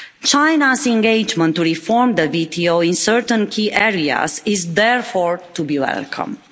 China's engagement to reform the WTO in certain key areas is therefore to be welcomed.